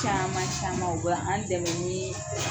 Caman caman o bɛ an dɛmɛ nii